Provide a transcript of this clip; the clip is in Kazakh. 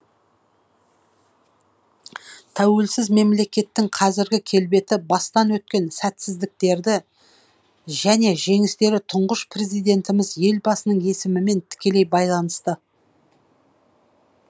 тәуелсіз мемлекеттің қазіргі келбеті бастан өткен сәтсіздіктерді және жеңістері тұңғыш президентіміз елбасының есімімен тікелей байланысты